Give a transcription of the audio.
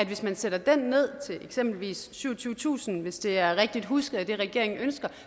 hvis man sætter den ned til eksempelvis syvogtyvetusind kroner hvis det er rigtigt husket at det regeringen ønsker